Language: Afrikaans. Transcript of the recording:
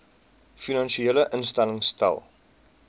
finansiële instellings stel